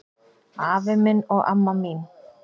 Afi minn og amma mín